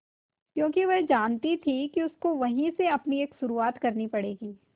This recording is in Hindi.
क्योंकि वह जानती थी कि उसको वहीं से अपनी एक शुरुआत करनी पड़ेगी